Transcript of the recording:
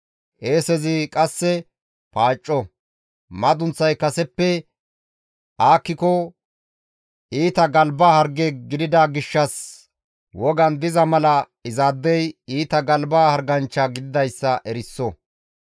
Qeesezi qasseka paacco; madunththay kaseppe aakkiko iita galba harge gidida gishshas wogan diza mala izaadey iita galba harganchcha gididayssa eriso.